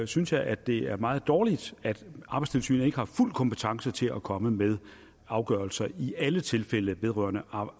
synes jeg at det er meget dårligt at arbejdstilsynet ikke har fuld kompetence til at komme med afgørelser i alle tilfælde vedrørende